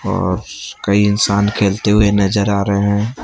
औ कई इंसान खेलते हुए नजर आ रहे हैं।